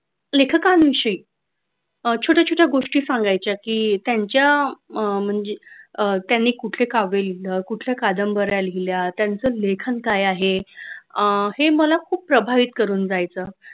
लेखकांविषयी अह छोट्या छोट्या गोष्टी सांगायच्या की त्यांच्या अह म्हणजे कुठले गाव गेलेले कुठल्या कादंबऱ्या लिहिल्या त्यांचे लेखन काय आहे अह हे मला खूप प्रभावित करून जायचं.